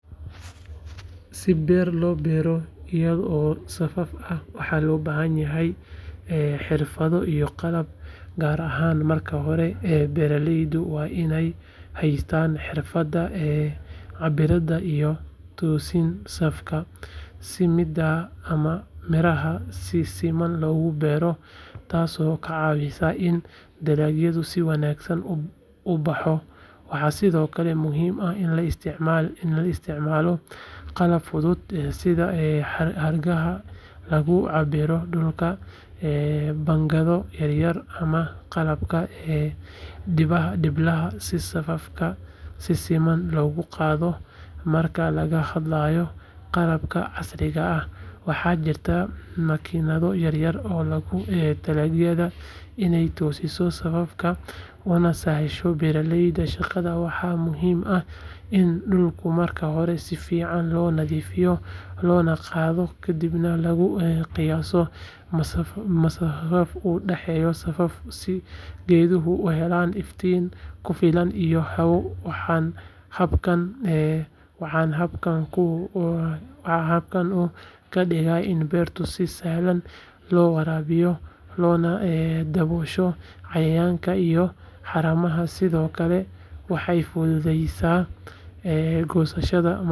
Si beero loo beero ayado safaf ah, maxaa loo baahan yahay? Xirfado iyo qalab gaar ah oo beeraleydu waa inay haystaan. Xirfadda cabbiraadda iyo toosinta safka si miraha si siman looga beero, taas oo ka caawisa in dalagga si wanaagsan uu u baxo. Waxaa sidoo kale muhiim ah in la isticmaalo qalab fudud sida xarigaha lagu cabbiro dhulka, pangado yaryar, ama qalabka dhiblaha si safafka si siman looga qaado. Marka laga hadlayo qalabka casriga ah, maxaa jira? Makiinado yaryar oo loo talagalay inay dalagyada toosiyaan safafka, una sahlaan beeraleyda shaqada. Waa muhiim in dhulka marka hore si fiican loo nadiifiyo loona qodo, kadibna la qiyaaso masaafada u dhaxeysa safafka si geedaha u helaan iftiin ku filan iyo hawo. Habkan wuxuu ka dhigaa beerta mid si sahlan loo waraabin karo loona daboosho cayayaanka iyo haramaha. Sidoo kalena, maxay fududeyneysaa? Goynta